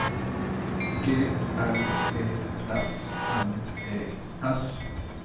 G L E S N E S